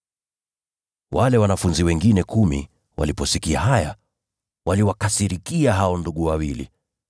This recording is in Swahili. Wale wanafunzi wengine kumi waliposikia haya, waliwakasirikia hao ndugu wawili.